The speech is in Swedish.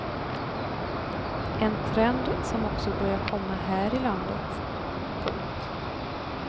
En trend som också börjar komma här i landet. punkt